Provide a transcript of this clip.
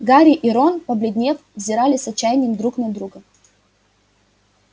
гарри и рон побледнев взирали с отчаянием друг на друга